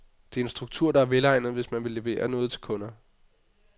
Det er en struktur, der er velegnet, hvis man vil levere noget til kunder.